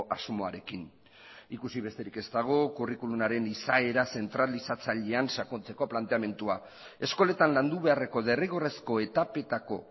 asmoarekin ikusi besterik ez dago curriculumaren izaera zentralizatzailean sakontzeko planteamendua eskoletan landu beharreko derrigorrezko etapetako